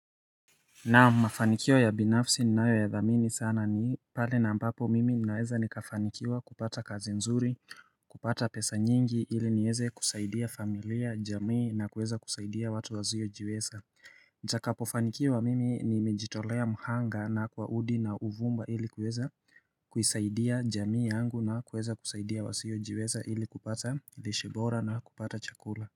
Na mafanikio ya binafsi ni nayo ya dhamini sana ni pale na ambapo mimi ninaweza nikafanikiwa kupata kazi nzuri kupata pesa nyingi ili nieze kusaidia familia jamii na kueza kusaidia watu wazio jiweza Ja kapofanikio wa mimi ni mijitolea mhanga na kwa hudi na uvumba ili kueza kusaidia jamii yangu na kueza kusaidia wasio jiweza ili kupata lishibora na kupata chakula.